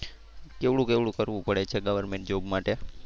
કેવડું કેવડું કરવું પડે છે government job માટે.